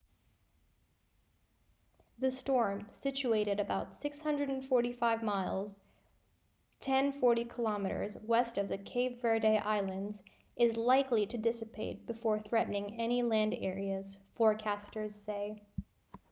the storm situated about 645 miles 1040 km west of the cape verde islands is likely to dissipate before threatening any land areas forecasters say